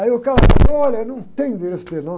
Aí o cara falou, olha, não tenho o endereço dele, não.